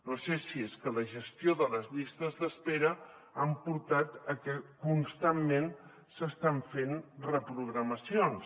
no sé si és que la gestió de les llistes d’espera ha portat que constantment s’estan fent reprogramacions